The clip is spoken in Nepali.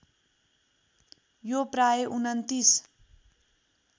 यो प्राय २९